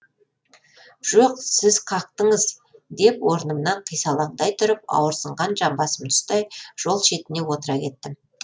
жоқ сіз қақтыңыз деп орнымнан қисалаңдай тұрып ауырсынған жамбасымды ұстай жол шетіне отыра кеттім